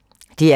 DR P3